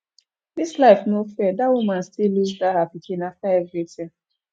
dis life no fair dat woman still lose that her pikin after everything